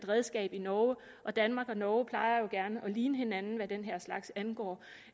redskab i norge og danmark og norge plejer jo gerne at ligne hinanden hvad den her slags angår